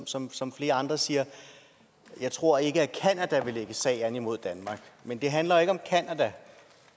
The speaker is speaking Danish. som som flere andre siger jeg tror ikke at canada vil lægge sag an imod danmark men det handler ikke om canada